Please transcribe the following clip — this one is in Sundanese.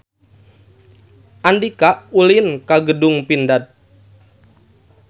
Andika ulin ka Gedung Pindad